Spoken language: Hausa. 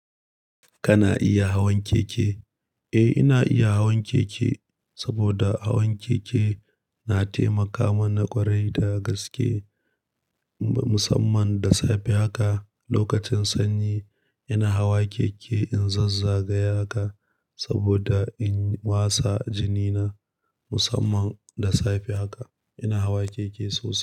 Kana iya hawan keke? Eh, ina iya hawan keke saboda hawan keke na taimaka mana ƙwarai da gaske musamman da safe haka. Lokacin sanyi ina hawa keke in zazzagaya haka saboda in wasa jini na musamman da safe haka ina hawa keke sosai.